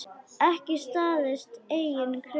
Ekki staðist eigin kröfur.